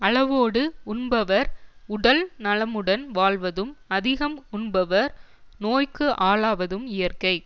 அளவோடு உண்பவர் உடல் நலமுடன் வாழ்வதும் அதிகம் உண்பவர் நோய்க்கு ஆளாவதும் இயற்கை